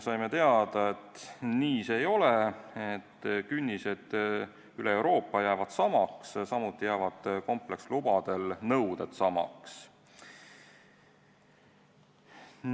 Saime teada, et nii see ei ole, künnised üle Euroopa jäävad samaks, samuti jäävad komplekslubade nõuded samaks.